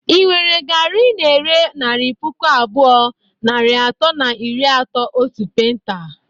Ị nwere garị ị na-ere naira puku abụọ, narị atọ na iri atọ otu penta?